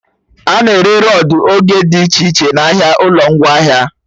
A na-ere rọdụ ego dị iche iche n'ahịa ụlọ ngwaahịa